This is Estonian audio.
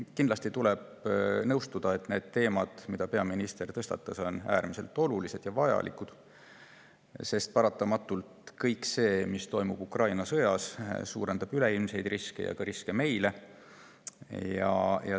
Kindlasti tuleb nõustuda, et need teemad, mille peaminister tõstatas, on äärmiselt olulised ja vajalikud, sest kõik see, mis toimub Ukraina sõjas, paratamatult suurendab üleilmseid riske ja ka riske meile.